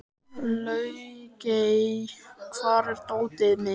Laugey, hvar er dótið mitt?